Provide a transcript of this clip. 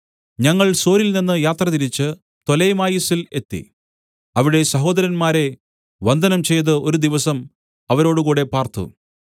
ഞങ്ങൾ സോരിൽനിന്ന് യാത്രതിരിച്ച് പ്തൊലെമായിസിൽ എത്തി അവിടെ സഹോദരന്മാരെ വന്ദനം ചെയ്ത് ഒരു ദിവസം അവരോടുകൂടെ പാർത്തു